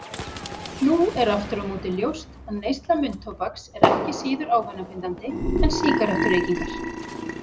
Nú er aftur á móti ljóst að neysla munntóbaks er ekki síður ávanabindandi en sígarettureykingar.